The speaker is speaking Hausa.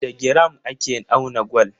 Da giram ake auna gwal.